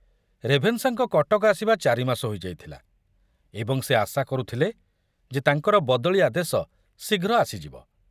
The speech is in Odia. ରେଭେନ୍ସାଙ୍କ କଟକ ଆସିବା ଚାରିମାସ ହୋଇ ଯାଇଥିଲା ଏବଂ ସେ ଆଶା କରୁଥିଲେ ଯେ ତାଙ୍କର ବଦଳି ଆଦେଶ ଶୀଘ୍ର ଆସିଯିବ।